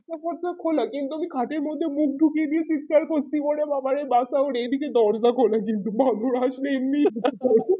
উপর থেকে খোলা কিন্তু আমি খাতের মধ্যে মুখ ঢুকিয়ে দিয়ে চিৎকার করছি ওরে বাবারে বাঁচাও আর এই দিকে দরজা খোলা কিন্তু বাদর আসলে এমনি